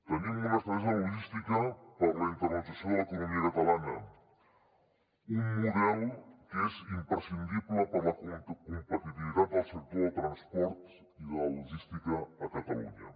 tenim una estratègia logística per la internacionalització de l’economia catalana un model que és imprescindible per a la competitivitat del sector del transport i de logística a catalunya